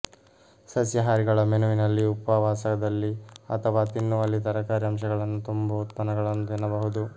ಸಸ್ಯಾಹಾರಿಗಳ ಮೆನುವಿನಲ್ಲಿ ಉಪವಾಸದಲ್ಲಿ ಅಥವಾ ತಿನ್ನುವಲ್ಲಿ ತರಕಾರಿ ಅಂಶಗಳನ್ನು ತುಂಬುವ ಉತ್ಪನ್ನಗಳನ್ನು ತಿನ್ನಬಹುದು